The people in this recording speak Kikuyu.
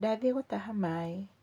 Ndathiĩ gũtaha maĩ.